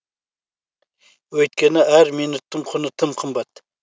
өйткені әр минуттың құны тым қымбат